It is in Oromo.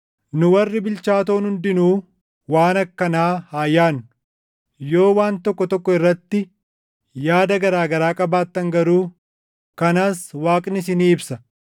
Nu warri bilchaatoon hundinuu waan akkanaa haa yaadnu. Yoo waan tokko tokko irratti yaada garaa garaa qabaattan garuu kanas Waaqni isinii ibsa.